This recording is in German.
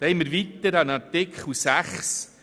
Weiter haben wir Artikel 6: